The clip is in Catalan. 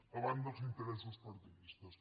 davant dels interessos partidistes